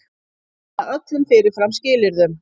Hafna öllum fyrirfram skilyrðum